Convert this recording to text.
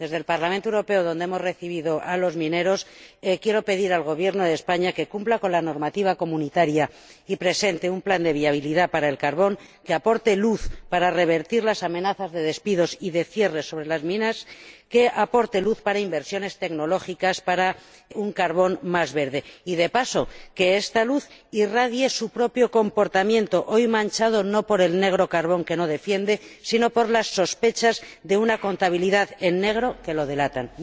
Desde el Parlamento Europeo, donde hemos recibido a los mineros, quiero pedir al Gobierno de España que cumpla con la normativa de la UE y presente un plan de viabilidad para el carbón que aporte luz para revertir las amenazas de despidos y de cierre sobre las minas, que aporte luz para inversiones tecnológicas, para un carbón más verde y, de paso, que esta luz irradie su propio comportamiento, hoy manchado no por el negro carbón, que no defiende, sino por las sospechas de una contabilidad en negro que lo delatan.